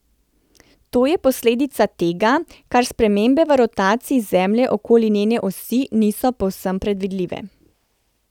To je posledica tega, ker spremembe v rotaciji Zemlje okoli njene osi niso povsem predvidljive.